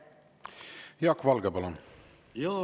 Jaak Valge, palun!